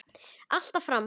Alltaf fram.